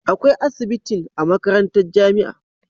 Akwai asibitin a makarantar jamia